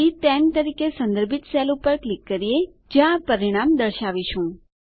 C10 તરીકે સંદર્ભિત cell પર ક્લિક કરીએ જ્યાં પરિણામ દર્શાવીશું